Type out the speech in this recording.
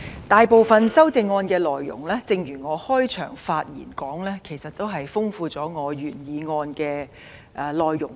大部分修正案的內容，正如我開場發言所說，是豐富了原議案的內容。